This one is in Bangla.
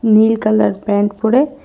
নীল কালার প্যান্ট পড়ে--